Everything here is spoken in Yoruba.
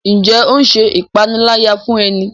Njé o ṣe ìpaniláyà fún e ní?